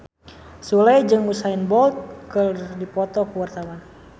Sule jeung Usain Bolt keur dipoto ku wartawan